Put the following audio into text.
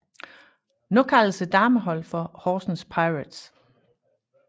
Nu kaldes dameholdet for Horsens Pirates